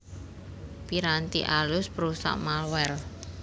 Piranti alus perusak malware